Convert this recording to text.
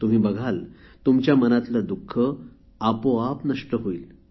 तुम्ही बघाल तुमच्या मनातले दुःख आपोआप नष्ट होईल